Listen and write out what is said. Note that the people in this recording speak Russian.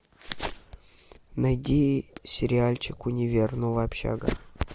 найди сериальчик универ новая общага